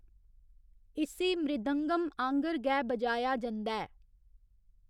इस्सी मृदंगम आंह्गर गै बजाया जंदा ऐ।